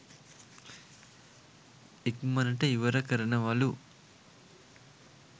ඉක්මනට ඉවර කරනවලු.